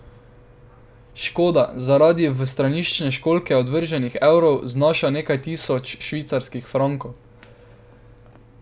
Škoda zaradi v straniščne školjke odvrženih evrov znaša nekaj tisoč švicarskih frankov.